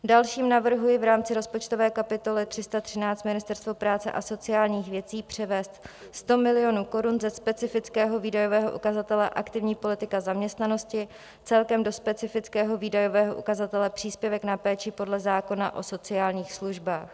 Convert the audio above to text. Další navrhuji v rámci rozpočtové kapitoly 313 Ministerstvo práce a sociálních věcí převést 100 milionů korun ze specifického výdajového ukazatele Aktivní politika zaměstnanosti celkem do specifického výdajového ukazatele Příspěvek na péči podle zákona o sociálních službách.